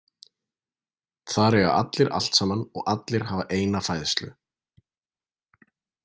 Þar eiga allir allt saman og allir hafa eina fæðslu.